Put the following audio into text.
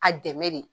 A dɛmɛ de